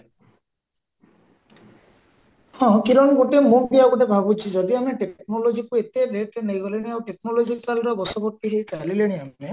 ହଁ କିରଣ ଗୋଟେ ମୁଁ ବି ଆଉ ଗୋଟେ ଭାବୁଚି ଯଦି ଆମେ technologyକୁ ଏତେ rateରେ ନେଇଗଲେଣି ଆଉ technologicalର ବଶବର୍ତୀ ହୋଇ ଚାଲିଲେଣି ଆମେ